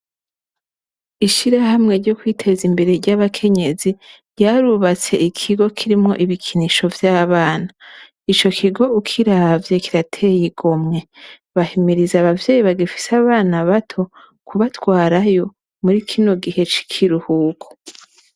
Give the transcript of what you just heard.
Ishirahamwe ryo kwiteza imbere ry'abakenyezi ryarubatse ikigo kirimwo ibikinisho vy'abana, ico kigo ukiravye kirateye igomwe, bahimiriza abavyeyi bagifise abana bato kubatwarayo murikino gihe c'ikiruhuko.